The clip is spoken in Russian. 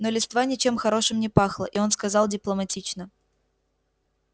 но листва ничем хорошим не пахла и он сказал дипломатично